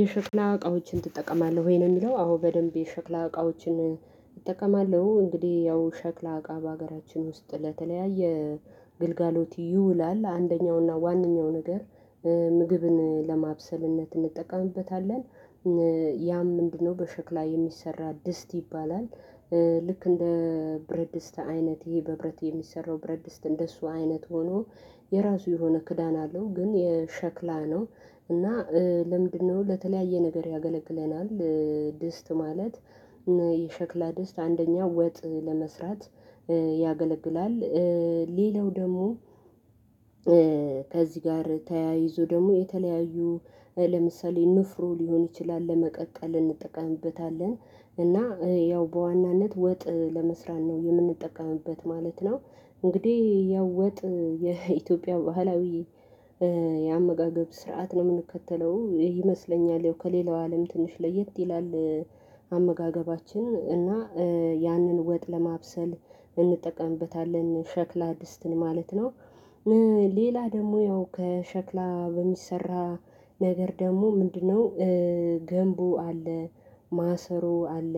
የሸክላ እቃዎችን ትጠቀማለህ ወይ ነው ሚለው? አዎ በደንብ የሸክላ እቃዎችን እጠቀማለው እንግዲ ያው ሸክላ እቃ በሀገራችን ውስጥ ለተለያየ ግልጋሎት ይውላል አንደኛውና ዋነኛው ነገር ምግብን ለማብሰልነት እንጠቀምበታለን። ያም ምንድነው በሸክላ የሚሰራ ድስት ይባላል። ልክ እንደ ብረት ድስት አይነት ይሄ በብረት የሚሰራው ብረት ድስት እንደሱ አይነት ሆኖ የራሱ የሆነ ክዳን አለው። ግን የሸክላ ነው እና ለምንድነው ለተለያየ ነገር ያገለግለናል? ድስት ማለት የሸክላ ድስት አንደኛ ወጥ ለመስራት ያገለግላል። ሌላው ደሞ ከዚ ጋር ተያይዞ ደሞ የተለያዩ ለምሳሌ ንፍሮ ሊሆን ይችላል ለመቀቀል እንጠቀምበታለን እና ያው በዋናነት ወጥ ለመስራት ነው የምንጠቀምበት ማለት ነው። እንግዲ ያው ወጥ የኢትዮጵያ ባህላዊ የአመጋገብ ስርዓት ነው ምንከተለው ይመስለኛል ያው ከሌላው አለም ትንሽ ለየት ይላል። አመጋገባችን እና ያንን ወጥ ለማብሰል እንጠቀምበታለን ሸክላ ድስትን ማለት ነው። ሌላ ደሞ ያው ከሸክላ በሚሰራ ነገር ደሞ ምንድነው? ገንቦ አለ ማሰሮ አለ።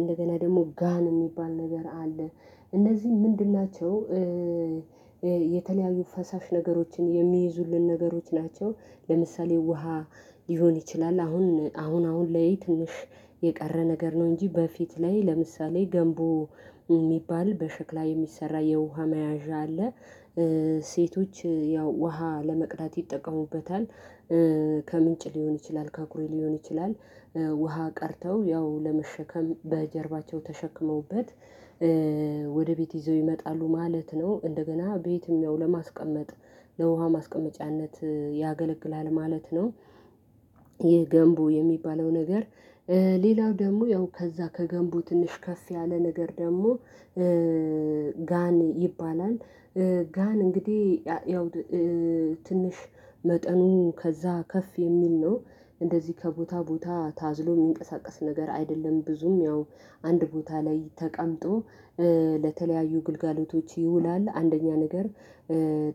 እንደገና ደሞ ጋን ሚባል ነገር አለ። እነዚ ምንድን ናቸው? የተለያዩ ፈሳሽ ነገሮችን የሚይዙልን ነገሮች ናቸው። ለምሳሌ ውሃ ሊሆን ይችላል አሁን አሁን አሁን ላይ ትንሽ የቀረ ነገር ነው እንጂ በፊት ላይ ለምሳሌ ገንቦ ሚባል በሸክላ የሚሰራ የውሃ መያዣ አለ። ሴቶች ያው ውሃ ለመቅዳት ይጠቀሙበታል። ከምንጭ ሊሆን ይችላል ከኩሬ ሊሆን ይችላል። ውሃ ቀርተው ያው ለመሸከም በጀርባቸው ተሸክመውበት ወደ ቤት ይዘው ይመጣሉ ማለት ነው። እንደገና ቤትም ያው ለማስቀመጥ ለውሃ ማስቀመጫነት ያገለግላል ማለት ነው። ይህ ገንቦ የሚባለው ነገር። ሌላው ደሞ ያው ከዛ ከገንቦ ትንሽ ከፍ ያለ ነገር ደሞ ጋን ይባላል። ጋን እንግዲ ያው ትንሽ መጠኑ ከዛ ከፍ የሚል ነው። እንደዚ ከቦታ ቦታ ታዝሎ ሚንቀሳቀስ ነገር አይደለም። ብዙም ያው አንድ ቦታ ላይ ተቀምጦ ለተለያዩ ግልጋሎቶች ይውላል። አንደኛ ነገር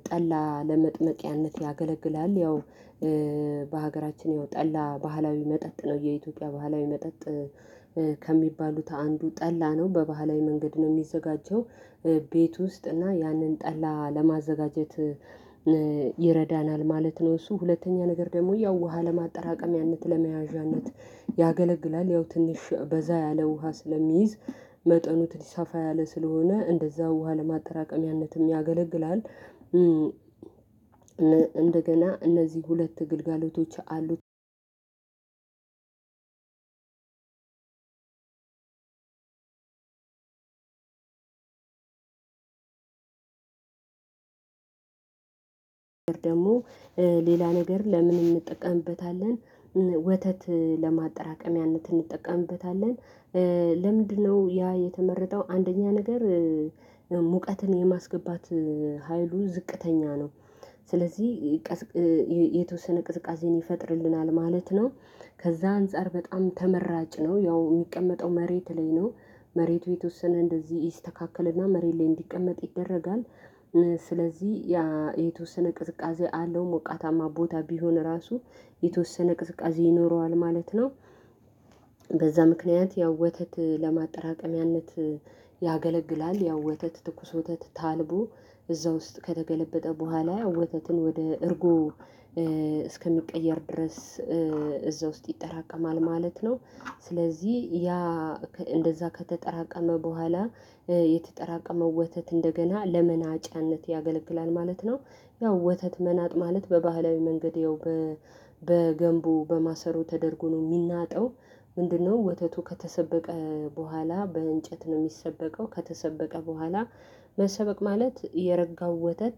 ጠላ ለመጥመቂያነት ያገለግላል። ያው በሀገራችን ያው ጠላ ባህላዊ መጠጥ ነው የኢትዮጵያ ባህላዊ መጠጥ ከሚባሉት አንዱ ጠላ ነው በባህላዊ መንገድ ነው ሚዘጋጀው። ቤት ውስጥ እና ያንን ጠላ ለማዘጋጀት ይረዳናል ማለት ነው። እሱ ሁለተኛ ነገር ደሞ ያው ውሃ ለማጠራቀም ያንን ለመያዣነት ያገለግላል። ያው ትንሽ በዛ ያለ ውሃ ስለሚይዝ መጠኑ ትንሽ ሰፋ ያለ ስለሆነ እንደዛ ውሃ ለማጠራቀሚያነትም ያገለግላል። እንደገና እነዚ ሁለት ግልጋሎቶች አሉ። ደሞ ሌላ ነገር ለምን እንጠቀምበታለን? ወተት ለማጠራቀሚያነት እንጠቀምበታለን። ለምንድነው ያ የተመረጠው? አንደኛ ነገር ሙቀትን የማስገባት ሀይሉ ዝቅተኛ ነው። ስለዚ የተወሰነ ቅዝቃዜን ይፈጥርልናል ማለት ነው። ከዛ አንፃር በጣም ተመራጭ ነው ያው ሚቀመጠው መሬት ላይ ነው። መሬቱ የተወሰነ እንደዚ ይስተካከለና መሬት ላይ እንዲቀመጥ ይደረጋል። ስለዚ ያ የተወሰነ ቅዝቃዜ አለው ሞቃታማ ቦታ ቢሆን ራሱ የተወሰነ ቅዝቃዜ ይኖረዋል ማለት ነው። በዛ ምክንያት ያው ወተት ለማጠራቀሚያነት ያገለግላል። ያው ወተት ትኩስ ወተት ታልቦ እዛ ውስጥ ከተገለበጠ በኋላ ወተትን ወደ እርጎ እስከሚቀየር ድረስ እዛ ውስጥ ይጠራቀማል ማለት ነው። ስለዚ ያ እንደዛ ከተጠራቀመ በኋላ የተጠራቀመው ወተት እንደገና ለመናጫነት ያገለግላል ማለት ነው። ያው ወተት መናጥ ማለት በባህላዊ መንገድ ያው በገንቦ በማሰሮ ተደርጎ ነው ሚናጠው። ምንድነው? ወተቱ ከተሰበቀ በኋላ በእንጨት ነው ሚሰበቀው ከተሰበቀ በኋላ። መሰበቅ ማለት የረጋው ወተት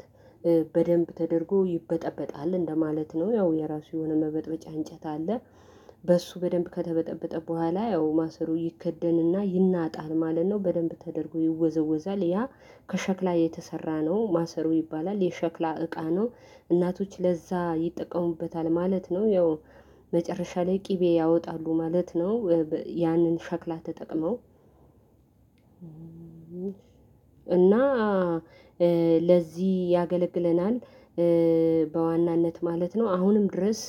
በደንብ ተደርጎ ይበጠበጣል እንደማለት ነው። ያው የራሱ የሆነ መበጥበጫ እንጨት አለ። በሱ በደንብ ከተበጠበጠ በኋላ ያው ማሰሮ ይከደንና ይናጣል ማለት ነው። በደንብ ተደርጎ ይወዘወዛል ያ ከሸክላ የተሰራ ነው ማሰሮ ይባላል የሸክላ እቃ ነው። እናቶች ለዛ ይጠቀሙበታል ማለት ነው። ያው መጨረሻ ላይ ቅቤ ያወጣሉ ማለት ነው። ያንን ሸክላ ተጠቅመው እና ለዚ ያገለግለናል። በዋናነት ማለት ነው አሁንም ድረስ